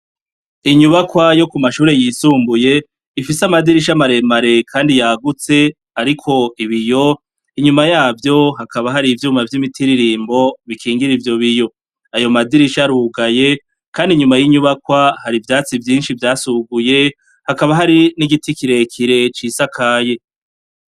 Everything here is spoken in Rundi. Inyubakwa yo ku mashure yisumbuye ifise amadirisha maremare kandi yagutse ariko ibiyo. Inyuma yavyo hakaba hari ivyuma vy'imitiririmbo bikingira ivyo biyo. Ayo madirisha arugaye kandi inyuma y'inyubakwa hari ivyatsi vyinshi vyasuguye, hakaba hari nigiti kirekire cisakaye.